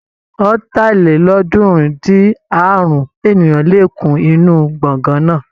Ọ̀tàlélọ́ọ̀ọ́dúnrún-dín-àrún ènìyàn lè kún inú gbọ̀ngán náà.